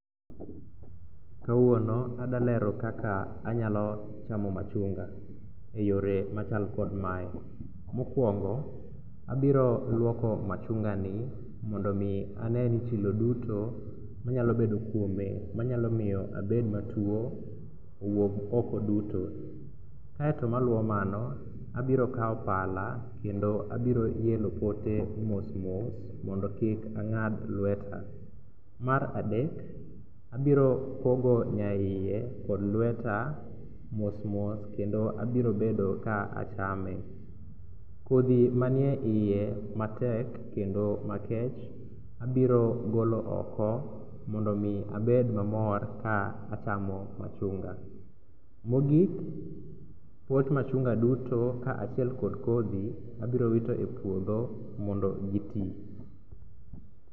Kawuono adwa lero kaka anyalo chamo machunga. Eyore machal kod mae, mokuongo abiro luoko machungani mondo mi ane ni chilo duto manyalo bedo kuome manyalo miyo abed matuo owuok oko duto e. Kaeto maluwo mano , abiro kawo pala, kendo abiro eloo pote mos mos mo do kik ang'ad lweta. Mar adek, abiro pogo nyaiye kod lweta mos mos kendo abiro bedo ka achame. Kodhi man eiye matek kendo makech abiro golo oko mondo mi abed mamor ka acham o machunga. Mogik pot machunga duto kaachiel kod kodhi, abiro wito e puodho mondo giti.